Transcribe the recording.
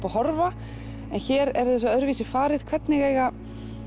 og horfa en hér er þessu öðruvísi farið hvernig eiga